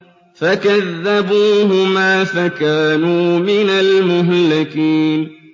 فَكَذَّبُوهُمَا فَكَانُوا مِنَ الْمُهْلَكِينَ